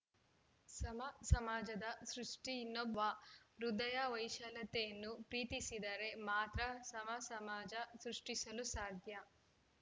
ಸಮ ಸಮಾಜದ ಸೃಷ್ಠಿ ಇನ್ನೊಬ್ಬ ಪ್ರೀತಿಸುವ ಹೃದಯ ವೈಶಾಲ್ಯತೆಯನ್ನು ಪ್ರೀತಿಸಿದರೆ ಮಾತ್ರ ಸಮಸಮಾಜ ಸೃಷ್ಠಿಸಲು ಸಾಧ್ಯ